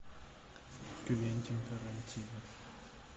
квентин тарантино